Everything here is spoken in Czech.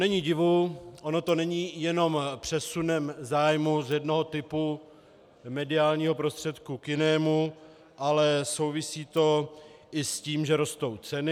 Není divu, ono to není jenom přesunem zájmu z jednoho typu mediálního prostředku k jinému, ale souvisí to i s tím, že rostou ceny.